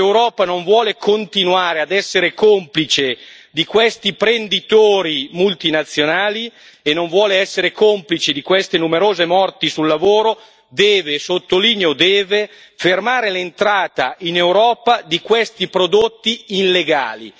Se l'Europa non vuole continuare a essere complice di questi prenditori multinazionali e non vuole essere complice di queste numerose morti sul lavoro deve, e sottolineo deve, fermare l'entrata in Europa di questi prodotti illegali.